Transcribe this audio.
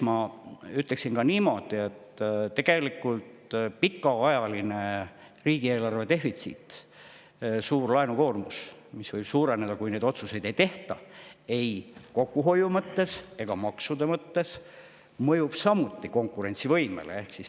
Ma ütleksin ka niimoodi, et tegelikult pikaajaline riigieelarve defitsiit, suur laenukoormus, mis võib veelgi suureneda, kui neid kokkuhoiu- ja maksuotsuseid ei tehtaks, mõjub samuti konkurentsivõimele.